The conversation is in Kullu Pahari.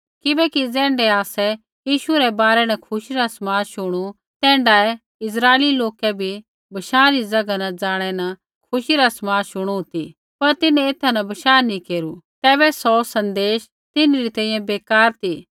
किबैकि ज़ैण्ढै आसै यीशु रै बारै न खुशी रा समाद शुणु तैण्ढाऐ इस्राइली लोकै बी बशाँ री ज़ैगा न जाणै न खुशी रा समाद शुणु ती पर तिन्हैं एथा न बशाह नैंई केरू तैबै सौ सन्देश तिन्हरी तैंईंयैं बेकार ती